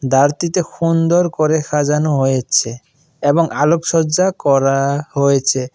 চারতিতে হুন্দর করে সাজানো হয়েছে এবং আলোকসজ্জা করা হয়েছে।